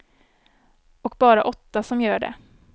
Och bara åtta som gör det.